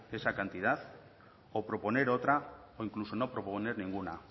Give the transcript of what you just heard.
esa cantidad o proponer otra o incluso no proponer ninguna